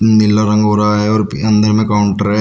नीला रंग हो रहा है और अंदर में काउंटर है।